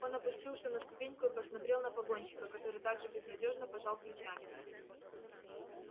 он опустился на ступеньку и посмотрел на погонщика который так же безнадёжно пожал плечами